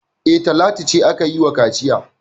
E, Talatu ce aka yi wa kaciya.